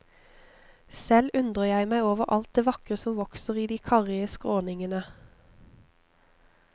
Selv undrer jeg meg over alt det vakre som vokser i de karrige skråningene.